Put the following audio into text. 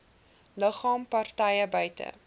liggame partye buite